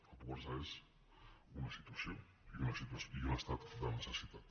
la pobresa és una situació i un estat de necessitat